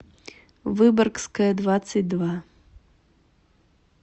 выборгская двадцать два